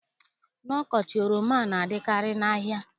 N'ọkọchị, oroma na-adịkarị n'ahịa.